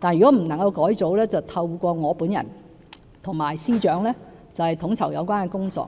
但如果不能改組，便透過我本人及司長來統籌有關工作。